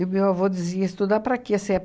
o meu avô dizia, estudar para quê? Se é